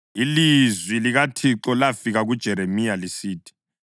Ilizwi likaThixo lafika kuJeremiya lisithi: